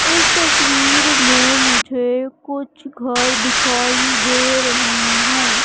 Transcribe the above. इस तस्वीर में मुझे कुछ घर दिखाई दे रहे हैं।